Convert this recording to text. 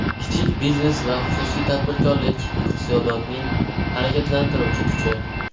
Kichik biznes va xususiy tadbirkorlik iqtisodiyotning harakatlantiruvchi kuchi.